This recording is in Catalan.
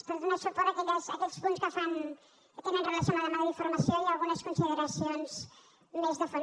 per donar suport a aquells punts que tenen relació amb la demanda d’informació i algunes consideracions més de fons